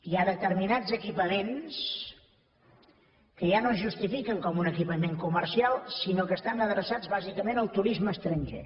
hi ha determinats equipaments que ja no es justifiquen com un equipament comercial sinó que estan adreçats bàsicament al turisme estranger